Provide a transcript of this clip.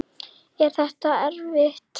Er þetta erfitt?